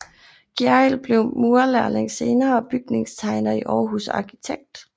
Gjerrild blev murerlærling senere bygningstegner i Aarhus og arkitekt